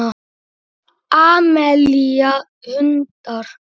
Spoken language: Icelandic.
Amelía: Hundar.